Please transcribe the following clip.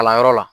Kalanyɔrɔ la